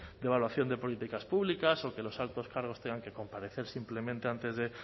de evaluación de políticas públicas o que los altos cargos tengan que comparecer simplemente antes de